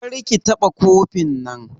Kar ki taɓa kofin nan!